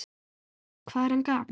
Hvað er hann gamall?